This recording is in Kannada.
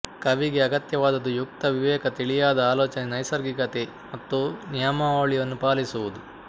ಕವಿಗೆ ಅಗತ್ಯವಾದದ್ದು ಯುಕ್ತ ವಿವೇಕ ತಿಳಿಯಾದ ಆಲೋಚನೆ ನೈಸರ್ಗಿಕತೆ ಮತ್ತು ನಿಯಮಾವಳಿಯನ್ನು ಪಾಲಿಸುವುದು